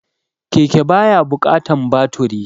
Keke ba ya buƙatan baturi